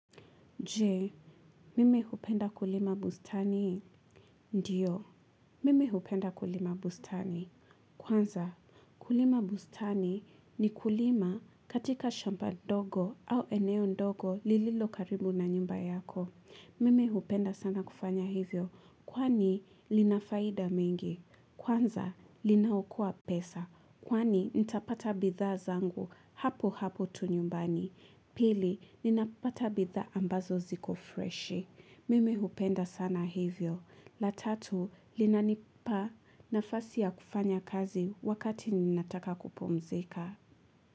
Jee, mimi hupenda kulima bustani. Ndiyo, mime hupenda kulima bustani. Kwanza, kulima bustani ni kulima katika shamba dogo au eneo ndogo lililo karibu na nyumba yako. Mimi hupenda sana kufanya hivyo, kwani linafaida mingi. Kwanza, linaokoa pesa, kwani nitapata bidhaa zangu hapo hapo tu nyumbani. Pili, ninapata bidhaa ambazo ziko fresh. Mimi hupenda sana hivyo. La tatu, linanipa nafasi ya kufanya kazi wakati ninataka kupumzika.